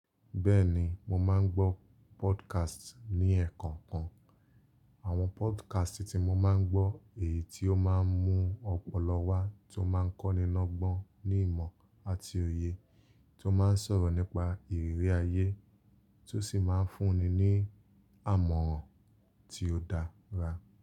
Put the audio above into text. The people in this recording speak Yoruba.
Bẹ́ẹ̀ni, mo máa ń gbọ́ podcast ní ẹ̀kọkan. Àwọn podcast tí mo máa ń gbọ́ èyí tí ó máa ń mú ọpọlọ wá tí ó máa ń kọ́ni lọ́gbọ́n ní ìmọ̀ àti òye, tí ó máa ń sọ̀rọ̀ nípa ìrírí ayé, tí ó sì máa ń fún ni ní àmọ̀ràn tí ó dára.